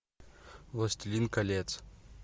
властелин колец